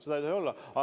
Seda ei tohi olla!